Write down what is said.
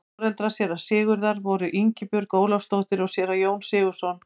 foreldrar séra sigurðar voru ingibjörg ólafsdóttir og séra jón sigurðsson